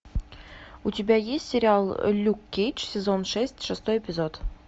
у тебя есть сериал люк кейдж сезон шесть шестой эпизод